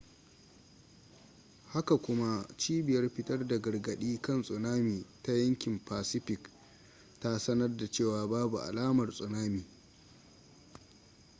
haka kuma cibiyar fitar da gargaɗi kan tsunami ta yankin pacific ta sanar da cewa babu alamar tsunami